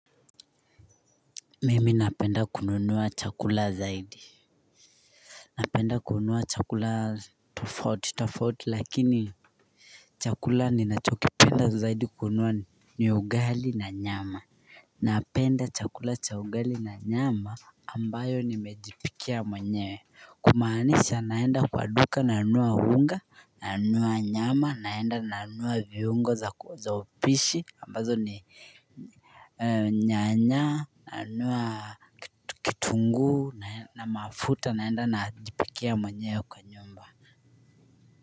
Mimi napenda kununua chakula zaidi. Napenda kununua chakula tofauti tofauti lakini chakula ninachokipenda zaidi kununua ni ugali na nyama Napenda chakula cha ugali na nyama ambayo nimejipikia mwenyewe, kumaanisha naenda kwa duka nanunua unga, nanunua nyama, naenda nanunua viungo za upishi ambazo ni Nyanya, nanunua kitunguu na mafuta naenda najipikia mwenyewe kwa nyumba.